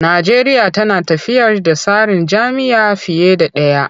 Najeriya tana tafiyar da tsarin jam'iyya fiye da ɗaya.